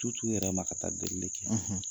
t'u t'u yɛrɛ ma ka taa delili kɛ!